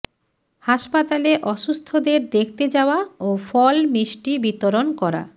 হাসপাতালে অসুস্থদের দেখতে যাওয়া ও ফল মিস্টি বিতরণ করা